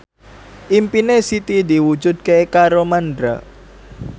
impine Siti diwujudke karo Mandra